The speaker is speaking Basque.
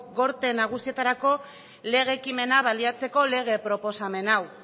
gorteen nagusietarako lege ekimena baliatzeko lege proposamen hau